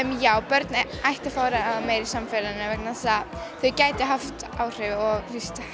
já börn ættu að fá að ráða meiru í samfélaginu vegna þess að þau gætu haft áhrif og